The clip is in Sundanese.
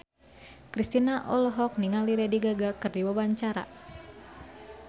Kristina olohok ningali Lady Gaga keur diwawancara